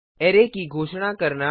array की घोषणा करना